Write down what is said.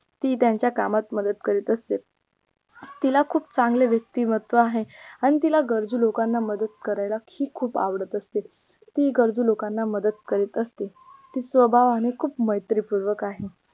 ती त्यांच्या कामात मदत करीत असते तिला खूप चांगले वेयक्तिमत्त्व आहे आणि तिला गरजू लोकांना मदत करायला ही खूप आवडत असते ती गरजू लोकांना मदत करीत असते ती स्वभावाने खूप मैत्री पूर्वक आहे